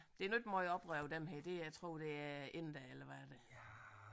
Det er nu ikke meget oprør over dem her det er tror det er indere eller hvad er det